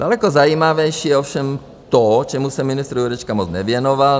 Daleko zajímavější je ovšem to, čemu se ministr Jurečka moc nevěnoval.